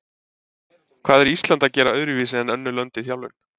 Hvað er Ísland að gera öðruvísi en önnur lönd í þjálfun?